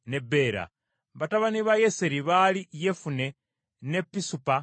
Batabani ba Yeseri baali Yefune, ne Pisupa ne Ala.